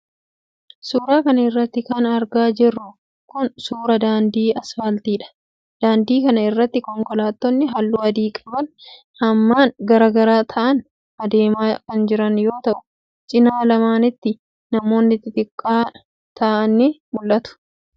Suura kana irratti kan argaa jirru kun, suura daandii asfaaltiidha. Daandii kana irra ,konkolaattonni haalluu adii qaban hammaan garaa gara ta'an adeemaa kan jiran yoo ta'u, cinaa lamaanitti manoonni xixiqqoo ta'an ni mul'atu. Namni, gaarii fardaa irra taa'ee adeemaa jirus ni mul'ata.